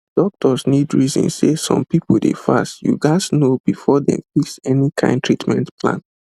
doctors need reason say some people dey fast you gatz know before dem fix any kind treatment plan